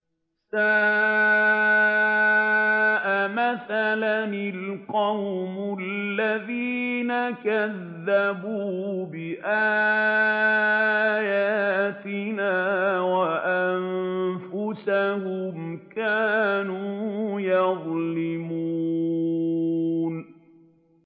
سَاءَ مَثَلًا الْقَوْمُ الَّذِينَ كَذَّبُوا بِآيَاتِنَا وَأَنفُسَهُمْ كَانُوا يَظْلِمُونَ